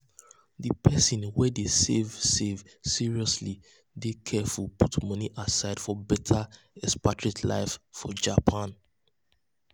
di person wey dey save save seriously dey carefully put moni aside for better expatriate life for japan.